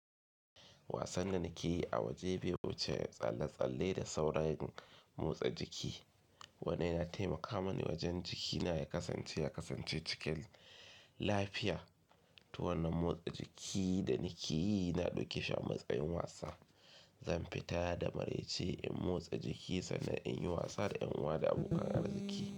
Wasan da nake yi a waje bai wuce tsalle tsalle da sauran motsa jiki. Wannan ya taimaka mani wajen jikina ya kasance ya kasance cikin lafiya. To wannan motsa jiki da nake yi na ɗauke shi a matsayin wasa. Zan fita da maraice in motsa jiki sannan in yi wasa da 'yanuwa da abokan arziki.